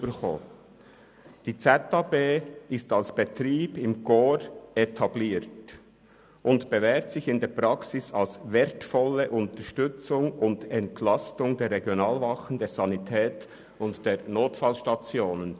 «Die zentrale Ausnüchterungsstelle ist als Betrieb im Korps etabliert und bewährt sich in der Praxis als wertvolle Unterstützung und Entlastung der Regionalwachen, der Sanität und der Notfallstationen».